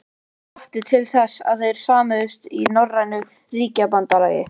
og hvatti til þess, að þeir sameinuðust í norrænu ríkjabandalagi.